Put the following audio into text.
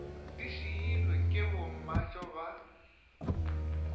di šiilwe ke bommatšo ba